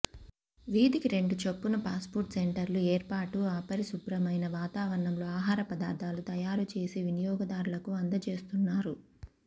వీధికి రెండు చొప్పు న ఫాస్ట్ఫుడ్ సెంటర్లు ఏర్పాటు అపరిశుభ్రమైన వాతావరణంలో ఆహార పదార్థాలు తయారు చేసి వినియోగదారులకు అందజేస్తున్నారు